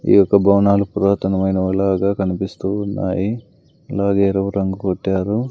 ఈ యొక్క భవనాలు పురాతనమైనవి లాగా కనిపిస్తూ ఉన్నాయి అలాగే ఎరుపు రంగు కొట్టారు.